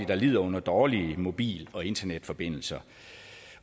der lider under dårlige mobil og internetforbindelser